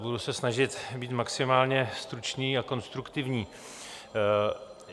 Budu se snažit být maximálně stručný a konstruktivní.